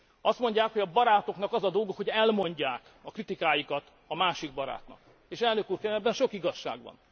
Azt mondják, hogy a barátoknak az a dolguk, hogy elmondják a kritikájukat a másik barátnak, és elnök úr, kérem, ebben sok igazság van.